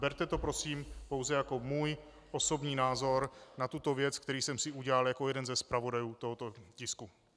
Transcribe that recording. Berte to prosím pouze jako můj osobní názor na tuto věc, který jsem si udělal jako jeden ze zpravodajů tohoto tisku.